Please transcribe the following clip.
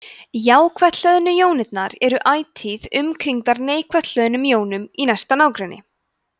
jákvætt hlöðnu jónirnar eru ætíð umkringdar neikvætt hlöðnum jónum í næsta nágrenni